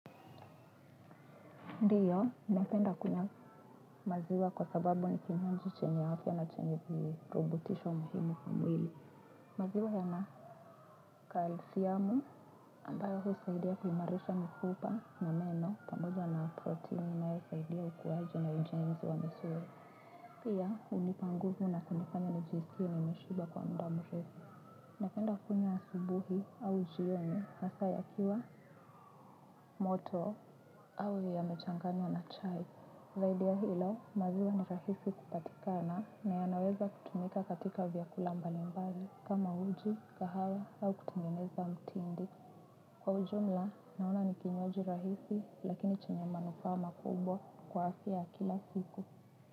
Ndiyo, napenda kunywa maziwa kwa sababu ni kinywaji chenya afya na chenye kirubutisho muhimu kimwili. Maziwa yana kalisiamu ambayo husaidia kuimarisha mifupa na meno pamoja na protein inaypsaidia ukuaje na ujenzi wa misuli. Pia, hunipa nguvu na kunifanya nijisikie nimeshiba kwa muda murefu. Napenda kunywa asubuhi au jioni hasaa yakiwa moto au yamechanganywa na chai. Zaidi ya hilo maziwa ni rahisi kupatikana na yanaweza kutumika katika vyakula mbalimbali kama uji, kahawa au kutengeneza mtindi. Kwa ujumla naona ni kinywaji rahisi lakini chenye manufaa makubwa kwa afya ya kila siku.